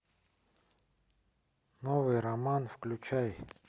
новый роман включай